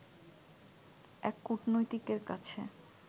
এক কূটনীতিকের কাছে